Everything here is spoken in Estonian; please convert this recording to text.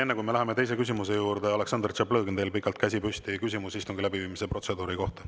Enne, kui me läheme teise küsimuse juurde, Aleksandr Tšaplõgin, teil on pikalt käsi püsti olnud, küsimus istungi läbiviimise protseduuri kohta.